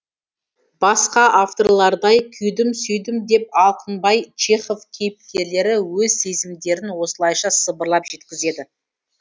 басқа авторлардай күйдім сүйдім деп алқынбай чехов кейіпкерлері өз сезімдерін осылайша сыбырлап жеткізеді